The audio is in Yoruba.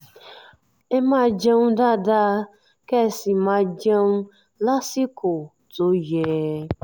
ẹ máa jẹun dáadáa kẹ́ ẹ sì máa jẹun lásìkò tó yẹ